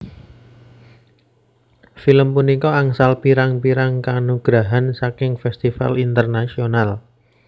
Film punika angsal pirang pirrang kanugrahan saking festival Internasional